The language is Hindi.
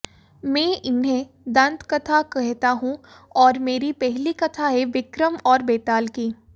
मैं इन्हें दंत कथा कहता हूं और मेरी पहली कथा है विक्रम और बेताल की